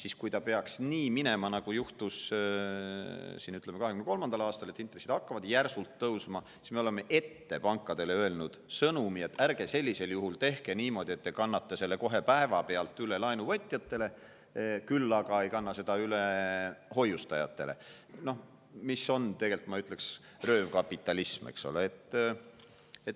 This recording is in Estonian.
Aga kui peaks minema nii, nagu juhtus 2023. aastal, et intressid hakkavad järsult tõusma, siis me oleme pankadele juba ette saatnud sõnumi, et ärge sellisel juhul tehke niimoodi, et te kannate selle kohe päevapealt üle laenuvõtjatele, aga ei kanna seda üle hoiustajatele, mis on tegelikult, ma ütleks, röövkapitalism, eks ole.